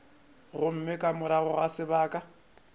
gomme ka morago ga sebaka